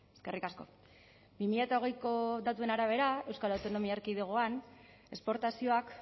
eskerrik asko bi mila hogeiko datuen arabera euskal autonomia erkidegoan esportazioak